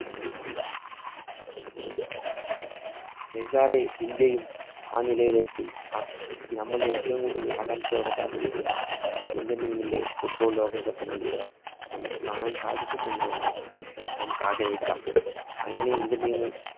വൈകാതെ ഇന്ത്യയും ആ നിലയിലേക്ക്, അഹ് നമ്മള്‍ ഏറ്റവും കൂടുതല്‍ ആകാംഷയോടെ കാത്തിരിക്കുന്ന, Indian team ൻറെ football ലോകകപ്പ് മത്സരം നമുക്ക് കാണാന്‍ സാധിക്കും എന്ന് തന്നെ നമുക്കാഗ്രഹിക്കം അങ്ങിനെ Indian team മ്